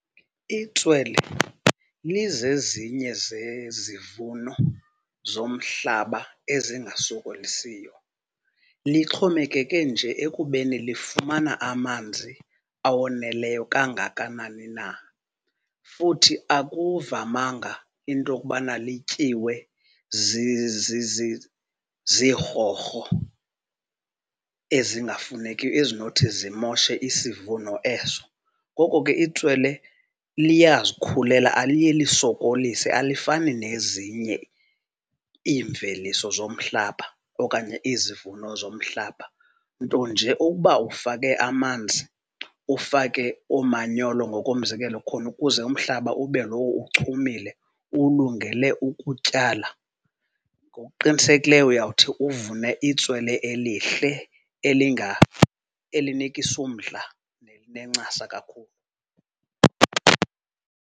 Itswele lizezinye zezivuno zomhlaba ezingasokolisiyo. Lixhomekeke nje ekubeni lifumana amanzi awoneleyo kangakanani na. Futhi akuvamanga into okubana lityiwe zirhorho ezingafunekiyo ezinothi zimoshe isivuno eso. Ngoko ke itswele liyazikhulela, aliye lisokolise, alifani nezinye iimveliso zomhlaba okanye izivuno zomhlaba. Nto nje ukuba ufake amanzi, ufake oomanyolo ngokomzekelo khona ukuze umhlaba ube lowo uchumile ulungele ukutyala, ngokuqinisekileyo uyawuthi uvune itswele elihle, elinikisa umdla nelinencasa kakhulu.